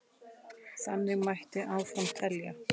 Þannig mætti áfram telja.